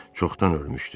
Çoxdan ölmüşdü.